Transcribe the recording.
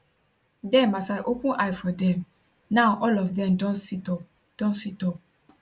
dem as i open eye for dem now all of dem don situp don situp